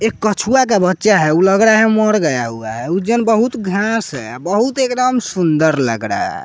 एक कछुआ का बच्चा है। वह लग रहा है मर गया हुआ है उज्जैन बहुत घास है बहुत एकदम सुंदर लग रहा है।